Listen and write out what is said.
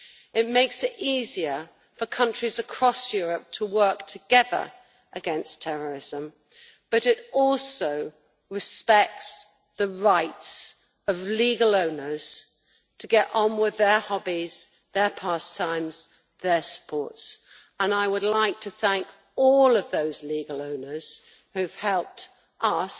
It makes it easier for countries across Europe to work together against terrorism but it also respects the rights of legal owners to get on with their hobbies, their pastimes and their sports and I would like to thank all those legal owners who have helped us